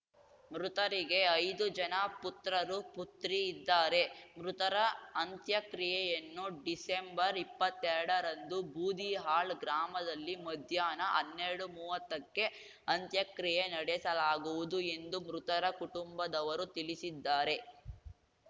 ಮೃತರಿಗೆ ಐದು ಜನ ಪುತ್ರರು ಪುತ್ರಿ ಇದ್ದಾರೆ ಮೃತರ ಅಂತ್ಯಕ್ರಿಯೆಯನ್ನು ಡಿಸೆಂಬರ್ಇಪ್ಪತ್ತೆರಡರಂದು ಬೂದಿಹಾಳ್‌ ಗ್ರಾಮದಲ್ಲಿ ಮಧ್ಯಾಹ್ನ ಹನ್ನೆರಡುಮೂವತ್ತಕ್ಕೆ ಅಂತ್ಯಕ್ರಿಯೆ ನಡೆಸಲಾಗುವುದು ಎಂದು ಮೃತರ ಕುಟುಂಬದವರು ತಿಳಿಸಿದ್ದಾರೆ